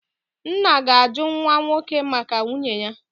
nna ga-ajụ nwa nwoke maka nwunye ya.